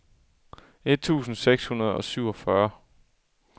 et tusind seks hundrede og syvogfyrre